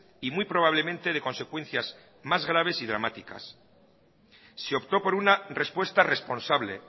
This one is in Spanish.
y muy probablemente de consecuencias más graves y dramáticas se optó por una respuesta responsable